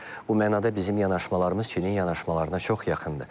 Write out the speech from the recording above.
Bu mənada bizim yanaşmalarımız Çinin yanaşmalarına çox yaxındır.